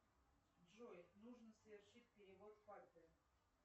джой нужно совершить перевод папе